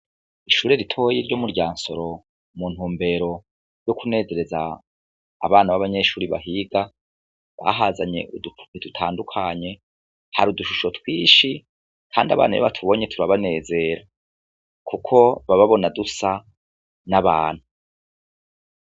Ishuri ritoya ryo mu Ryansoro mu ntumbero yo kunezereza abana babanyeshuri bahiga bahazanye udu pupe dutandukanye hari udushusho twishi kandi abana iyo batubonye turabanezera kuko baba babona dusa n'abantu.